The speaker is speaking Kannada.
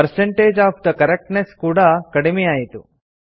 ಪರ್ಸೆಂಟೇಜ್ ಒಎಫ್ ಥೆ ಕರೆಕ್ಟ್ನೆಸ್ ಕೂಡಾ ಕಡಿಮೆಯಾಯಿತು